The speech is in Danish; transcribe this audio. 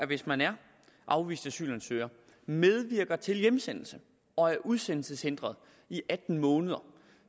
hvis man er afvist asylansøger og medvirker til hjemsendelse og er udsendelseshindret i atten måneder